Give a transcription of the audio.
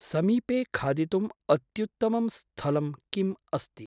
समीपे खादितुम् अत्त्युत्तमं स्थलं किम् अस्ति?